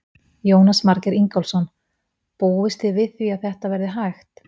Jónas Margeir Ingólfsson: Búist þið við því að þetta verði hægt?